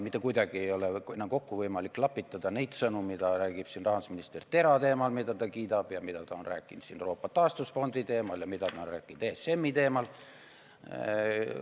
Mitte kuidagi ei ole võimalik kokku klapitada neid sõnu, mida räägib siin rahandusminister TERA teemal, mida ta kiidab, ja mida ta on rääkinud siin Euroopa taastusfondi teemal ja mida ta on rääkinud ESM-i teemal.